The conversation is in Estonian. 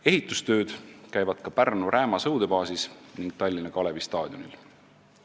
Ehitustööd käivad ka Pärnu Rääma sõudebaasis ning Tallinna Kalevi staadionil.